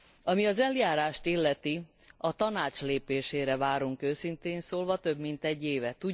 Ami az eljárást illeti, a Tanács lépésére várunk őszintén szólva több mint egy éve.